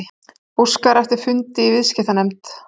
Óskar eftir fundi í viðskiptanefnd